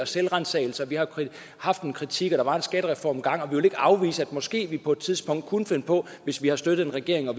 selvransagelse vi har haft en kritik og der var en skattereform engang og vi vil ikke afvise at vi måske på et tidspunkt kunne finde på hvis vi har støttet en regering at